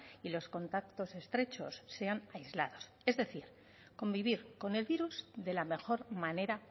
y los contactos estrechos sean aislados es decir convivir con el virus de la mejor manera